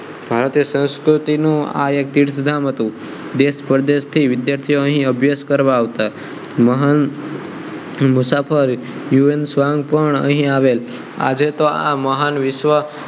ભારતીય સંસ્કૃતિ નું આ એક તીર્થધામ હતું દેશ પરદેશ થી વિધાર્થીઓ અહીં અભિયાસ કરવા આવતા હતા મહાન મુસાફર હ્યુ એન ત્સાંગ પણ અહીં આવેલ આજે તો આ મહાન વિશ્વ